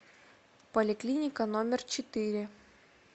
поликлиника номер четыре